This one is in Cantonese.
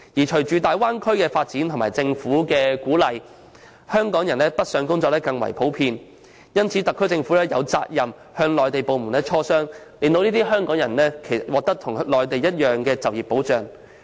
隨着大灣區的發展及政府的鼓勵，港人北上工作將更為普遍，因此特區政府有責任與內地部門磋商，令這些港人獲得與內地居民一致的就業保障。